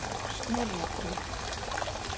Snorrabraut